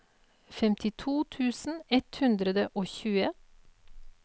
femtito tusen ett hundre og tjue